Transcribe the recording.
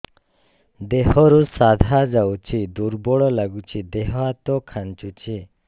ଦେହରୁ ସାଧା ଯାଉଚି ଦୁର୍ବଳ ଲାଗୁଚି ଦେହ ହାତ ଖାନ୍ଚୁଚି